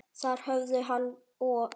Þar höfðu hann og